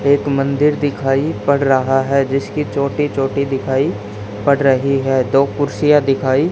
एक मंदिर दिखाई पड़ रहा है जिसकी चोटी चोटी दिखाई पड़ रही है दो कुर्सियां दिखाई--